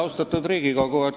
Austatud Riigikogu!